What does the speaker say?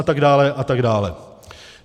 A tak dále, a tak dále.